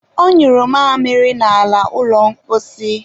ọ nyụrụ mamịrị n'ala ụlọ mposi.